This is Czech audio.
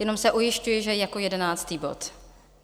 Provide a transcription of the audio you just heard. Jenom se ujišťuji, že jako jedenáctý bod.